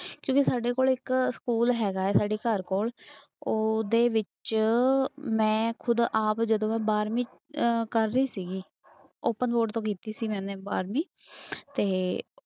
ਕਿਉਂਕਿ ਸਾਡੇ ਕੋਲ ਇੱਕ ਸਕੂਲ ਹੈਗਾ ਹੈ ਸਾਡੇ ਘਰ ਕੋਲ ਉਹਦੇ ਵਿੱਚ ਮੈਂ ਖੁੱਦ ਆਪ ਜਦੋਂ ਮੈਂ ਬਾਰਵੀਂ ਅਹ ਕਰ ਰਹੀ ਸੀਗੀ open board ਤੋਂ ਕੀਤੀ ਸੀ ਮੈਨੇ ਬਾਰਵੀਂ ਤੇ